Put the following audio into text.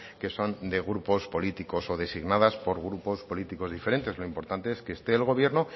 que son de grupos políticos o designadas por grupos políticos diferentes lo importante es que esté el gobierno